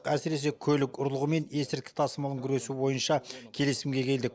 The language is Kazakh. әсіресе көлік ұрлығы мен есірткі тасымалын күресу бойынша келісімге келдік